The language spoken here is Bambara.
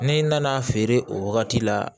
Ne nana feere o wagati la